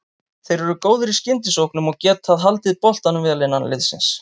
Þeir eru góðir í skyndisóknum og getað haldið boltanum vel innan liðsins.